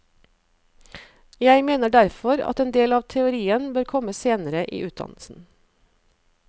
Jeg mener derfor at en del av teorien bør komme senere i utdannelsen.